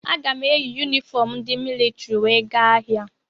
Aga m eyi yunifọm ndị militrị wee gaa ahịa.